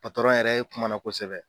Patɔrɔn yɛrɛ kumana kosɛbɛ.